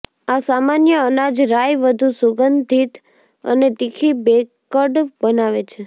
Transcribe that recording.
આ અસામાન્ય અનાજ રાઈ વધુ સુગંધિત અને તીખી બેકડ બનાવે છે